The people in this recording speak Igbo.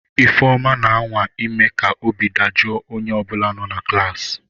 Ifeoma, na-anwa ime ka obi dajụọ onye ọ bụla nọ na klaasị.